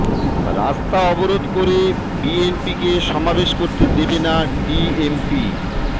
রাস্তা অবরোধ করে বিএনপিকে সমাবেশ করতে দেবে না ডিএমপি